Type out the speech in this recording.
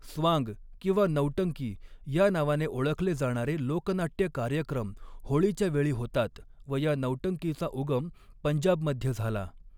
स्वांग किंवा नौटंकी या नावाने ओळखले जाणारे लोकनाट्य कार्यक्रम होळीच्या वेळी होतात व या नौटंकीचा उगम पंजाबमध्ये झाला.